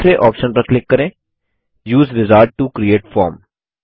दूसरे ऑप्शन पर क्लिक करें उसे विजार्ड टो क्रिएट फॉर्म